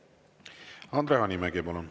Andre Hanimägi, palun!